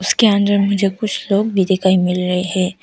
उसके अंदर मुझे कुछ लोग भी दिखाई मिल रहे हैं।